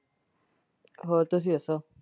ਹੋਰ ਤੁਸੀਂ ਦਸੋ।